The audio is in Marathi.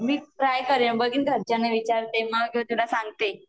मी ट्राय करेन बघीन घरच्यांना विचारते मग तुला सांगते